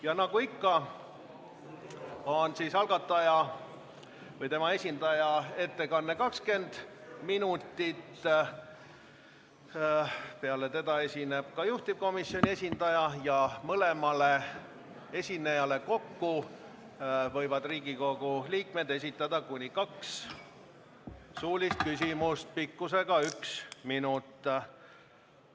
Ja nagu ikka on algataja või tema esindaja ettekanne 20 minutit, peale seda esineb juhtivkomisjoni esindaja ja mõlemale esinejale kokku võivad Riigikogu liikmed esitada kuni kaks suulist küsimust pikkusega üks minut.